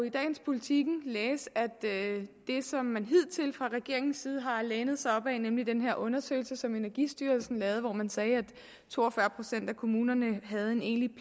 i dagens politiken læse at det som man hidtil fra regeringens side har lænet sig op ad nemlig den her undersøgelse som energistyrelsen lavede hvor man sagde at to og fyrre procent af kommunerne havde en egentlig